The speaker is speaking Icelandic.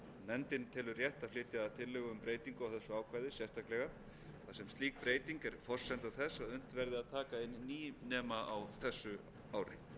nefndin telur rétt að flytja tillögu um breytingu á þessu ákvæði sérstaklega þar sem slík breyting er forsenda þess að unnt verði að taka inn nýnema á þessu ári